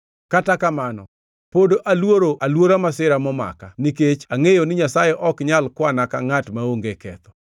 Kata kamano, pod aluoro aluora masira momaka nikech angʼeyo ni Nyasaye ok nyal kwana ka ngʼat maonge ketho.